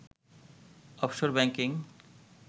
offshore banking